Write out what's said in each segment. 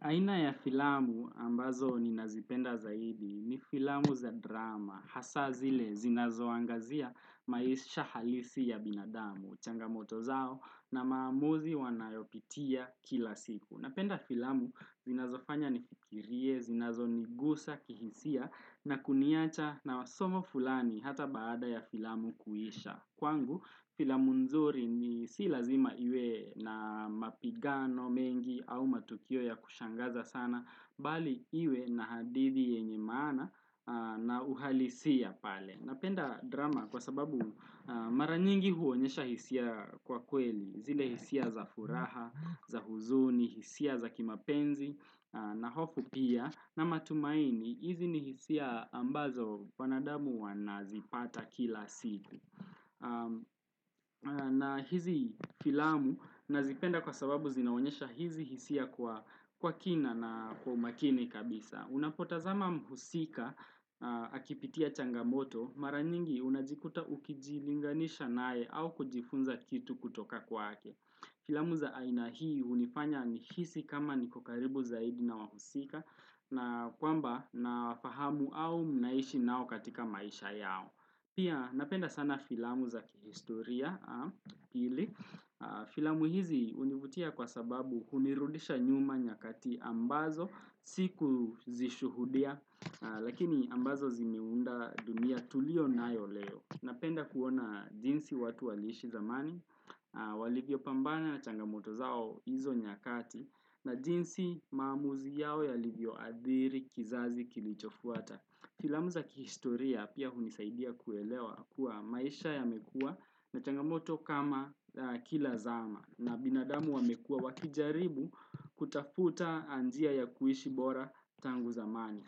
Aina ya filamu ambazo ni nazipenda zaidi ni filamu za drama, hasa zile zinazo angazia maisha halisi ya binadamu, changamoto zao na maamuzi wanayopitia kila siku. Napenda filamu zinazo fanya nifikirie, zinazo nigusa, kihisia na kuniacha na wasomo fulani hata baada ya filamu kuisha. Kwangu filamu nzuri ni si lazima iwe na mapigano mengi au matukio ya kushangaza sana Bali iwe na hadithi yenye maana na uhalisia pale Napenda drama kwa sababu mara nyingi huonyesha hisia kwa kweli zile hisia za furaha, za huzuni, hisia za kimapenzi na hofu pia na matumaini, hizi ni hisia ambazo wanadamu wanazipata kila siku na hizi filamu nazipenda kwa sababu zinaonesha hizi hisia kwa kwa kina na kwa umakini kabisa Unapotazama mhusika akipitia changamoto maranyingi unajikuta ukijilinganisha nae au kujifunza kitu kutoka kwake Filamu za aina hii unifanya ni hisi kama nikokaribu zaidi na wahusika na kwamba nafahamu au mnaishi nao katika maisha yao Pia napenda sana filamu za kihistoria, filamu hizi univutia kwa sababu hunirudisha nyuma nyakati ambazo, siku zishuhudia, lakini ambazo zimiunda dunia tulio nayo leo. Napenda kuona jinsi watu walishi zamani, walivyo pambana na changamoto zao hizo nyakati, na jinsi maamuzi yao ya alivyo athiri kizazi kilichofuata. Filamu za kihistoria pia hunisaidia kuelewa kuwa maisha yamekuw na changamoto kama kila zama na binadamu wamekuwa wakijaribu kutafuta njia ya kuishi bora tangu zamani.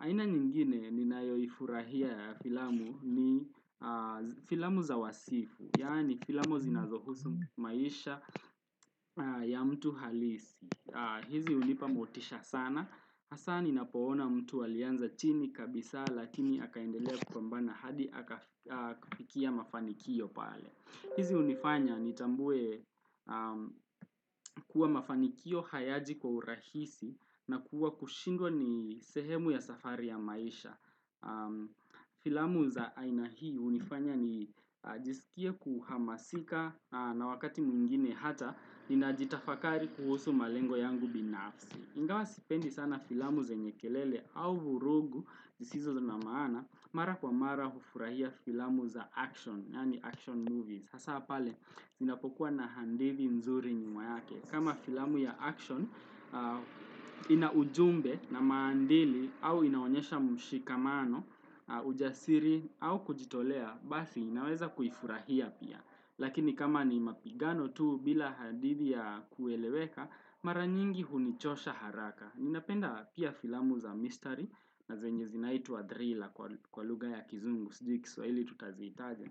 Aina nyingine ni nayo ifurahia ya filamu ni filamu za wasifu, yaani filamu zinazohusu maisha ya mtu halisi. Hizi unipa motisha sana, hasa ni napoona mtu alianza chini kabisa lakini akaendelea kupambana hadi akafikia mafanikio pale. Hizi unifanya ni tambue kuwa mafanikio hayaji kwa urahisi na kuwa kushindwa ni sehemu ya safari ya maisha. Filamu za aina hii unifanya ni jisikia kuhamasika na wakati mwingine hata ninajitafakari kuhusu malengo yangu binafsi. Ingawa sipendi sana filamu zanye kelele au vurugu zisizo na maana mara kwa mara hufurahia filamu za action, yani action movies. Hasa pale, ninapokuwa na handedi nzuri nyuma yake. Kama filamu ya action, inaujumbe na maadili au inaonesha mshikamano, ujasiri au kujitolea, basi naweza kuifurahia pia. Lakini kama ni mapigano tuu bila handidi ya kueleweka, maranyingi hunichosha haraka. Ninapenda pia filamu za mystery na zenye zinaitwa drila kwa lugha ya kizungu, sijui kiswahii tutaziitaje.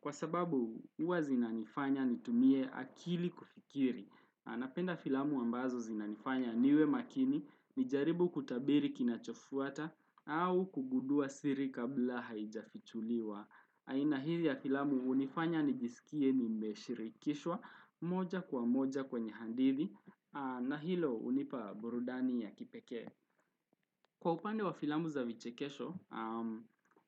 Kwa sababu huwa zinanifanya nitumie akili kufikiri. Napenda filamu ambazo zinanifanya niwe makini, nijaribu kutabiri kinachofuata au kugudua siri kabla haijafichuliwa. Aina hili ya filamu hunifanya nijisikie ni nimeshirikishwa moja kwa moja kwenye hadithi na hilo unipa burudani ya kipeke. Kwa upande wa filamu za vichekesho,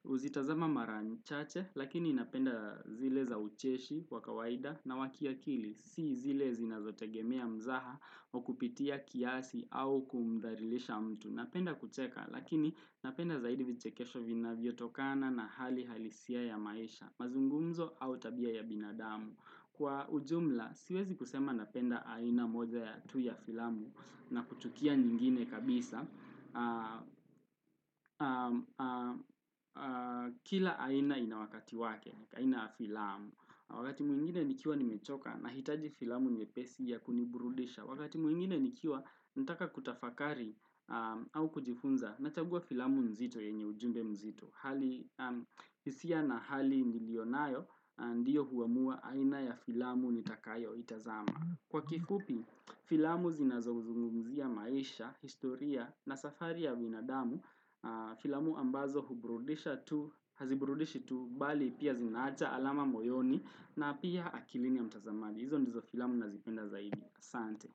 uzitazama marachache, lakini inapenda zile za ucheshi, wakawaida, na wa akili, si zile zinazotegemea mzaha wa kupitia kiasi au kumdhalilisha mtu. Napenda kucheka, lakini napenda zaidi vichekesho vina vyotokana na hali halisia ya maisha, mazungumzo au tabia ya binadamu. Kwa ujumla, siwezi kusema napenda aina moja ya tu ya filamu na kuchukia nyingine kabisa. Kila aina inawakati wake, aina ya filamu. Wakati muingine nikiwa nimechoka nahitaji filamu nyepesi ya kuniburudisha. Wakati mwingine nikiwa nitaka kutafakari au kujifunza nachagua filamu nzito yenye ujumbe mzito. Hisia na hali niliyonayo ndiyo huamua aina ya filamu nitakayo itazama Kwa kifupi, filamu zinazozungumuzia maisha, historia na safari ya binadamu Filamu ambazo hubrudisha tu, hazibrudishi tu, bali pia zinacha alama moyoni na pia akilini ya mtazamadi Izo ndizo filamu nazipenda zaidi, Asante.